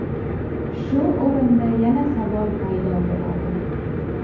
Shu o‘rinda yana savol paydo bo‘ladi.